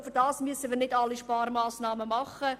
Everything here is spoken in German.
Dafür müssen wir jedoch nicht alle Sparmassnahmen umsetzen.